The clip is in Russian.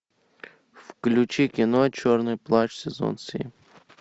включи кино черный плащ сезон семь